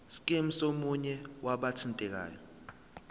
scheme somunye wabathintekayo